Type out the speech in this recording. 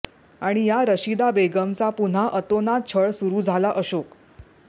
आणि या रशिदा बेगमचा पुन्हा अतोनात छळ सुरू झाला अशोक